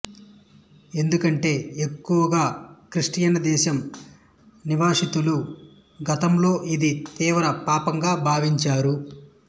ఎందుకంటే ఎక్కువగా క్రిస్టియన్ దేశం నివాసితులు గతంలో ఇది తీవ్ర పాపంగా భావించారు